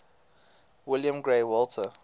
william grey walter